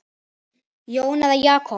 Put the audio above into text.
Jón eða Jakob?